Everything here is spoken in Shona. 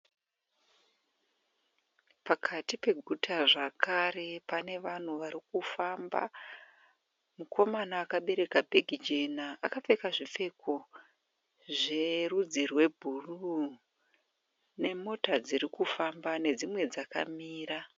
Pakati peguta zvakare pane vanhu vari kufamba. Mukomana akabereka bheke jena akapfeka zvepepuru. Pane mota dziri kufamba nedzimwe dzakamira.